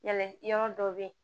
Yala yɔrɔ dɔw bɛ yen